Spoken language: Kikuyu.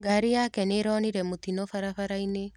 Ngari yake nĩĩronire mũtino barabara-inĩ.